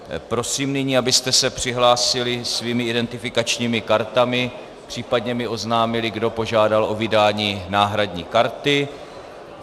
Prosím nyní, abyste se přihlásili svými identifikačními kartami, případně mi oznámili, kdo požádal o vydání náhradní karty.